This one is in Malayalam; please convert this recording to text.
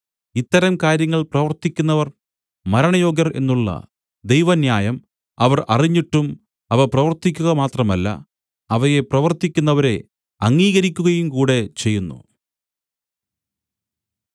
ഇത്തരം കാര്യങ്ങൾ പ്രവൃത്തിക്കുന്നവർ മരണയോഗ്യർ എന്നുള്ള ദൈവന്യായം അവർ അറിഞ്ഞിട്ടും അവ പ്രവർത്തിക്കുക മാത്രമല്ല അവയെ പ്രവർത്തിക്കുന്നവരെ അംഗീകരിക്കുകയുംകൂടെ ചെയ്യുന്നു